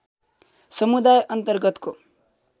समुदाय अन्तर्गतको